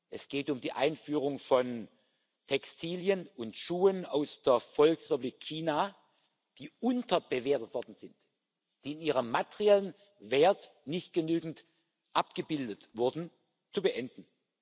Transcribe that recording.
es geht um die Einfuhr von Textilien und Schuhen aus der Volksrepublik China, die unterbewertet worden sind, die in ihrem materiellen Wert nicht genügend abgebildet wurden zu beenden.